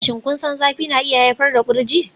Shin kun san zafi na iya haifar da kurji?